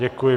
Děkuji.